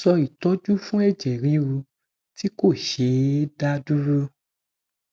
so itoju fun eje riru ti ko she e da duro